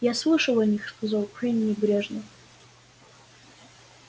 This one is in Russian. я слышал о них сказал куинн небрежно